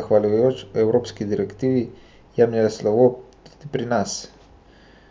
zahvaljujoč evropski direktivi, jemlje slovo tudi pri nas.